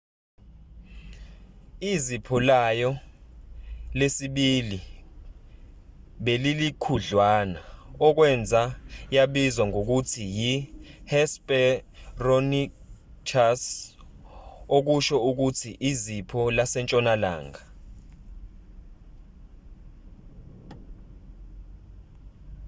izipho layo lesibili belilikhudlwana okwenza yabizwa ngokuthi yi-hesperonychus okusho ukuthi izipho lasentshonalanga